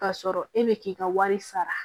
K'a sɔrɔ e bɛ k'i ka wari sara